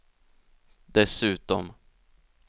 dessutom